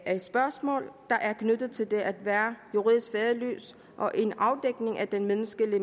af spørgsmål der er knyttet til det at være juridisk faderløs og en afdækning af den menneskelige